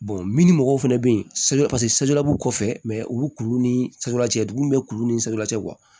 min mɔgɔw fɛnɛ bɛ yen saridabugu kɔfɛ mɛ u bɛ kuru ni dugum bɛ kuru ni sari cɛ